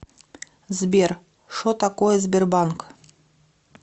сбер шо такое сбербанк